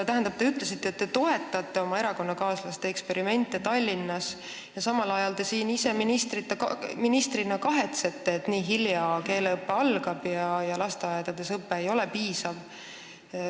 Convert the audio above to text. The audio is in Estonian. Tähendab, te ütlesite, et te toetate oma erakonnakaaslaste eksperimente Tallinnas, aga samal ajal te ise ministrina kahetsete, et keeleõpe algab nii hilja ja lasteaedades ei ole õpe piisav.